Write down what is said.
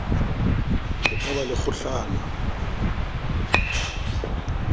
ho ka ba le kgohlano